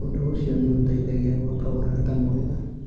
Ũndũ ũcio nĩ ũteithagia gwaka ũrata mwega.